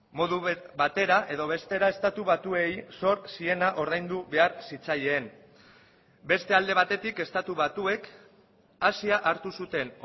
modu batera edo bestera estatu batuei sor ziena ordaindu behar zitzaien beste alde batetik estatu batuek asia hartu zuten